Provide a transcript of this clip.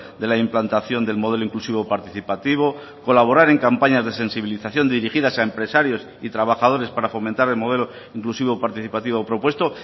de la implantación del modelo inclusivo participativo colaborar en campañas de sensibilización dirigidas a empresarios y trabajadores para fomentar el modelo inclusivo participativo propuesto